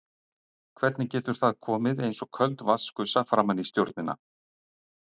Hvernig getur það komið eins og köld vatnsgusa framan í stjórnina?